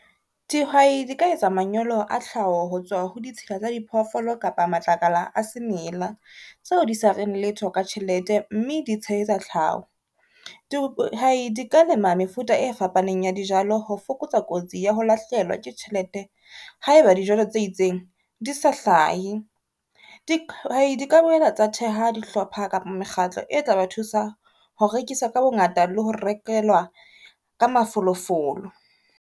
Dihwai di ka etsa manyolo a tlhaho ho tswa ho ditshila tsa diphoofolo kapa matlakala a semela, seo di sa reng letho ka tjhelete, mme di tshehetsa tlhaho. Dihwai di ka lema mefuta e fapaneng ya dijalo ho fokotsa kotsi ya ho lahlehelwa ke tjhelete ha e ba dijalo tse itseng di sa hlahe. Dihwai di ka boela tsa theha dihlopha kapa mekgatlo e tla ba thusa ho rekisa ka bongata le ho rekelwa ka mafolofolo.